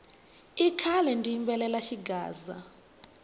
i khale ndzi yimbelela xigaza